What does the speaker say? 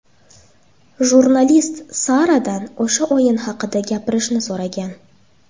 Jurnalist Saradan o‘sha o‘yin haqida gapirishni so‘ragan.